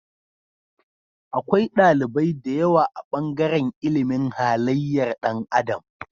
Akwai ɗalibai da yawa a bangaran ilimin halayyar Dan adam